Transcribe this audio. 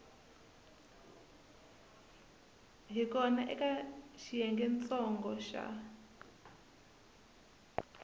hi kona eka xiyengentsongo xa